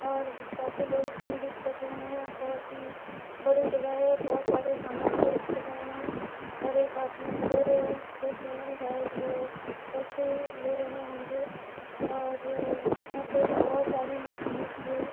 और काफी लोग जिम भी कर रहें हैं बहुत ही बड़ी जगह है। बहुत सारे सामान भी रखे गए हैं और एक आदमी इधर देख रहें है शायद वो सेल्फी ले रहे होंगे और यहाँ पे बहुत सारी मशीन भी है।